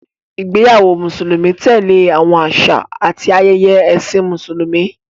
Ìgbéyàwó Mùsùlùmí tẹ̀lé àwọn àṣà àti ayẹyẹ Ẹ̀sìn Mùsùlùmí.